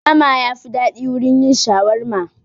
Bama yafi daɗi wurin yin shawarma